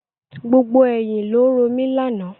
Gbogbo ẹ̀yin ni ó ń romi lànà.